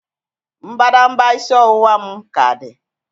Mbadamba isi ọwụwa m ka dị